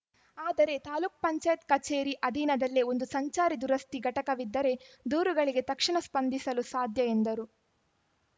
ಆದರೆ ತಾಲೂಕ್ ಪಂಚಾಯತ್ ಕಚೇರಿ ಅಧೀನದಲ್ಲೇ ಒಂದು ಸಂಚಾರಿ ದುರಸ್ತಿ ಘಟಕವಿದ್ದರೆ ದೂರುಗಳಿಗೆ ತಕ್ಷಣ ಸ್ಪಂದಿಸಲು ಸಾಧ್ಯ ಎಂದರು